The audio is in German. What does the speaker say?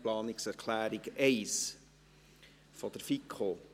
Planungserklärung 1 der FiKo: